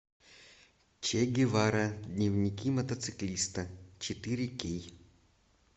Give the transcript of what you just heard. че гевара дневники мотоциклиста четыре кей